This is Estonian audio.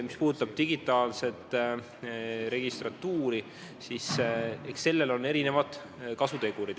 Mis puudutab digitaalset registratuuri, siis sellel on erinevad kasutegurid.